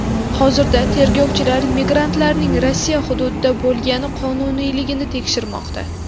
Hozirda tergovchilar migrantlarning Rossiya hududida bo‘lgani qonuniyligini tekshirmoqda.